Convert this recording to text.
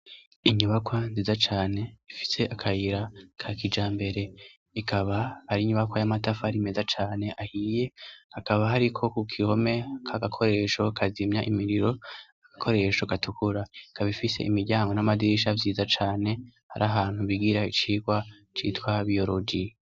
Inyubakwa nziza cane, ifise akayira ka kijambere, ikaba ar'inyubakwa y'amatafari meza cane ahiye, akaba hariko k'uruhome, k'agakoresho kazimya imiriro, agakoresho gatukura. Ikaba ifise imiryango n'amadirisha vyiza cane, hari ahantu bigira icigwa c'itwa biyoroji.